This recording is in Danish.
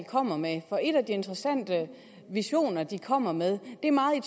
kommer med for en af de interessante visioner de kommer med er meget i